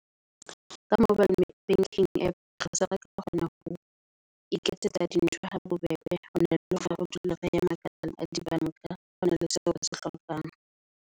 Ka mobile banking app, re se re ka kgona ho iketsetsa di ntho habobebe, hona le hore re dule re ya ma ka di bank-a hona le seo re se hlokang.